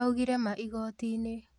Augire ma igoti-inĩ